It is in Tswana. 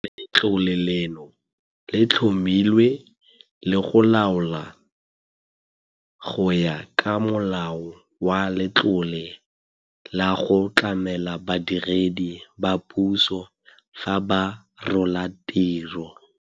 Letlole leno le tlhomilwe le go laolwa go ya ka Molao wa Letlole la go Tlamela Badiredi ba Puso fa ba Rola Tiro.